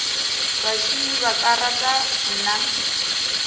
bašomi ba ka rata mna